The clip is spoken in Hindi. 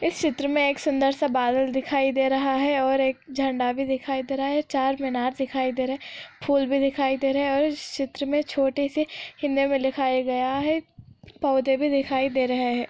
इस चित्र मैं सूंदर सा बदल दिखाई दे रहा है |और एक झण्डा बी दिखाई दे रहा हे चार मीनार दिखाई दे रहे हे फूल दिखाई दे रहा हे और इस चित्र में छोटी सी फौड़े बी दिखाई दे रहे हे |